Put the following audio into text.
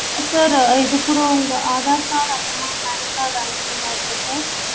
sir இது கூட உங்க ஆதார் கார்டு அப்பறோமா PAN card அனுப்பற மாறி இருக்கும் sir